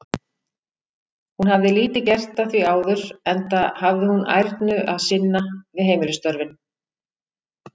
Hún hafði lítið gert að því áður, enda hafði hún ærnu að sinna við heimilisstörfin.